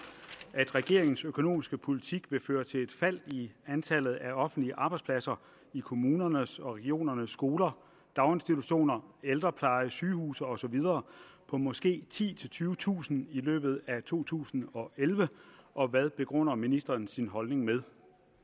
at regeringens økonomiske politik vil føre til et fald i antallet af offentlige arbejdspladser i kommunernes og regionernes skoler daginstitutioner ældrepleje sygehuse og så videre på måske titusind tyvetusind i løbet af to tusind og elleve og hvad begrunder ministeren sin holdning med